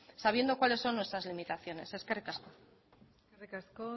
sabiendo cuáles son nuestras limitaciones eskerrik asko eskerrik asko